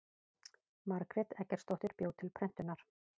margrét eggertsdóttir bjó til prentunar